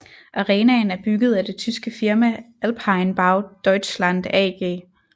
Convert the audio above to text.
Arenaen er bygget af det tyske firma Alpine Bau Deutschland AG